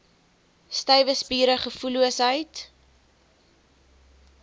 stywe spiere gevoelloosheid